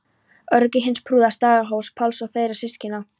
Ögri hins prúða, Staðarhóls-Páls og þeirra systkina.